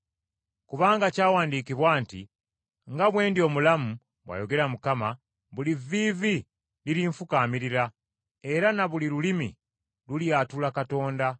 Kubanga kyawandiikibwa nti, “ ‘Nga bwe ndi omulamu,’ bw’ayogera Mukama, ‘buli vviivi lirinfukaamirira era na buli lulimi lulyatula Katonda.’ ”